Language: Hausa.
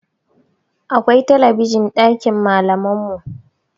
Akwai talabijin ɗakin malaman mu